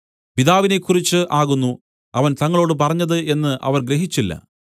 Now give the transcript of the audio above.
പിതാവിനെക്കുറിച്ച് ആകുന്നു അവൻ തങ്ങളോട് പറഞ്ഞത് എന്നു അവർ ഗ്രഹിച്ചില്ല